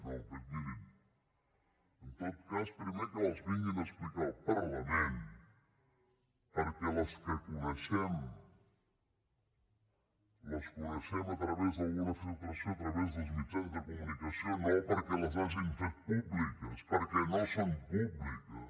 no mirin en tot cas primer que les vinguin a explicar al parlament perquè les que coneixem les coneixem a través d’una filtració a través dels mitjans de comunicació no perquè les hagin fet públiques perquè no són públiques